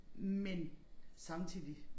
Men samtidig